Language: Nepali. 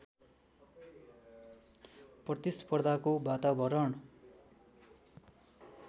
प्रतिस्पर्धाको वातावरण